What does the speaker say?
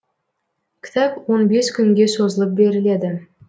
кітап он бес күнге созылып беріледі